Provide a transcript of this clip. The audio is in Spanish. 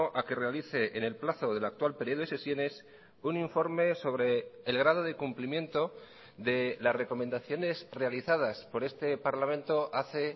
a que realice en el plazo del actual periodo de sesiones un informe sobre el grado de cumplimiento de las recomendaciones realizadas por este parlamento hace